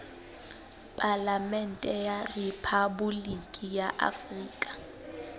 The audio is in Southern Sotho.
palamente ya rephaboliki ya afrika